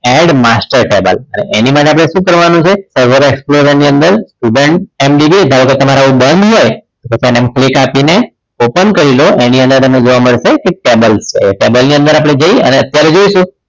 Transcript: End master tag આપવો પડે એની માટે આપણે શું કરવાનું છે server explorer ની અંદર student MVB ધારો કે તમારે આવું બંધ હોય તો તમે આમ click આપીને open કરી લો અને એની અંદર તમને જોવા મળશે table table ની અંદર આપણે જઈ અત્યારે જોઈશું